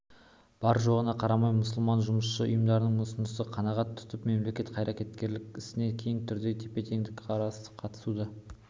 бар-жоғына қарамай мұсылман жұмысшы ұйымдарының ұсынысын қанағат тұтып мемлекет қайраткерлік ісіне кең түрде тепе-теңдікпен қатыстыру